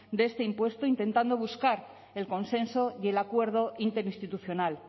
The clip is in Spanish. de este impuesto intentando buscar el consenso y el acuerdo interinstitucional